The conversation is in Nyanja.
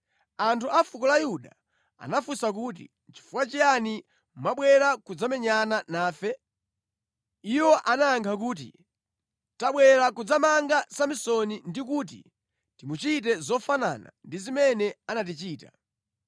Anthu a fuko la Yuda anafunsa kuti, “Nʼchifukwa chiyani mwabwera kudzamenyana nafe?” Iwo anayankha kuti, “Tabwera kudzamanga Samsoni ndi kuti timuchite zofanana ndi zimene anatichita.”